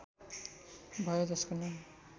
भयो जसको नाम